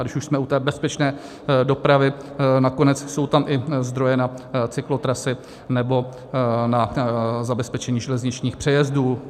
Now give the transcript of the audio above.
A když už jsme u té bezpečné dopravy, nakonec jsou tam i zdroje na cyklotrasy nebo na zabezpečení železničních přejezdů.